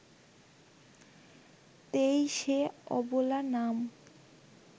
তেঁই সে ‘অবোলা’ নাম